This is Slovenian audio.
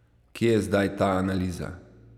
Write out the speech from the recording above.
Kje je zdaj ta analiza?